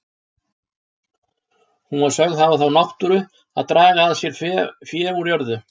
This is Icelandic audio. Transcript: Hún var sögð hafa þá náttúru að draga að sér fé úr jörðu.